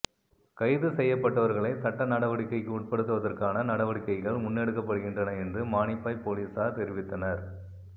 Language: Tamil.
கைதுசெய்யப்பட்டவர்களை சட்ட நடவடிக்கைக்கு உட்படுத்துவதற்கான நடவடிக்கைகள் முன்னெடுக்கப்படுகின்றன என்று மானிப்பாய் பொலிஸார் தெரிவித்தனர்